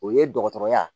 O ye dɔgɔtɔrɔya